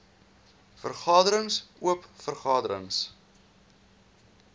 vergaderings oop vergaderings